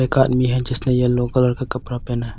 एक आदमी है जिसने येलो कलर का कपड़ा पहना है।